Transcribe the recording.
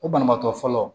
O banabaatɔ fɔlɔ